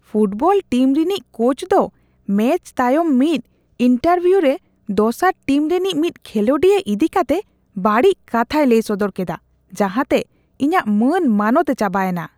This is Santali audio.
ᱯᱷᱩᱴᱵᱚᱞ ᱴᱤᱢ ᱨᱤᱱᱤᱡ ᱠᱳᱪ ᱫᱚ ᱢᱮᱪ ᱛᱟᱭᱚᱢ ᱢᱤᱫ ᱤᱱᱴᱟᱨᱵᱷᱤᱭᱩ ᱨᱮ ᱫᱚᱥᱟᱨ ᱴᱤᱢ ᱨᱮᱱᱤᱡ ᱢᱤᱫ ᱠᱷᱮᱞᱳᱰᱤᱭᱟᱹ ᱤᱫᱤ ᱠᱟᱛᱮ ᱵᱟᱹᱲᱤᱡ ᱠᱟᱛᱷᱟᱭ ᱞᱟᱹᱭ ᱥᱚᱫᱚᱨ ᱠᱮᱫᱟ ᱡᱟᱦᱟᱸ ᱛᱮ ᱤᱧᱟᱹᱜ ᱢᱟᱹᱱ ᱢᱟᱱᱚᱛ ᱮ ᱪᱟᱵᱟ ᱮᱱᱟ ᱾